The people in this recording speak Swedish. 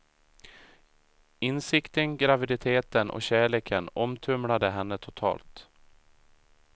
Insikten, graviditeten och kärleken omtumlade henne totalt.